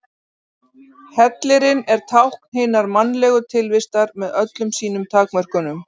Hellirinn er tákn hinnar mannlegu tilvistar með öllum sínum takmörkunum.